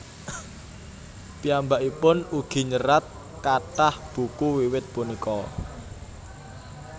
Piyambakipun ugi nyerat kathah buku wiwit punika